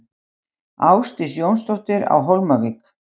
Ásdís Jónsdóttir á Hólmavík